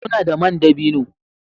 Muna da man dabino